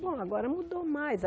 Bom, agora mudou mais.